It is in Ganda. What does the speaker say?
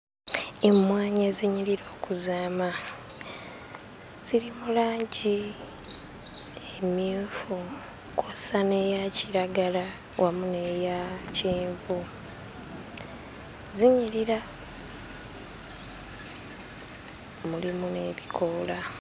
Emmwanyi ezinyirira okuzaama ziri mu langi emmyufu kw'ossa n'eya kiragala wamu n'eya kyenvu zinyirira mulimu n'ebikoola.